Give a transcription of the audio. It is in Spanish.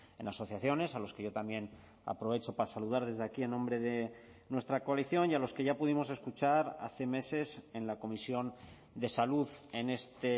en asociaciones a los que yo también aprovecho para saludar desde aquí en nombre de nuestra coalición y a los que ya pudimos escuchar hace meses en la comisión de salud en este